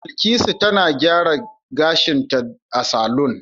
Bilkisu tana gyara gashinta a saloon